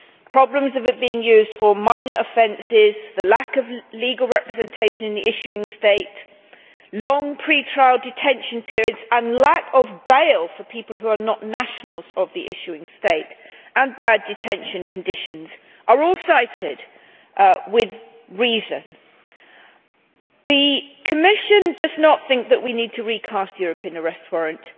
Problems with it being used for minor offences, the lack of legal representation in the issuing state, long pre trial detention periods, the lack of bail for people who are not nationals of the issuing state, and bad detention conditions are all cited with reason. The Commission does not think that we need to recast the European Arrest Warrant.